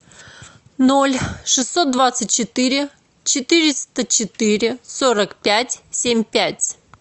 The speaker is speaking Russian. ноль шестьсот двадцать четыре четыреста четыре сорок пять семь пять